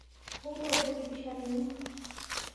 Wuo tooshoki pisha tene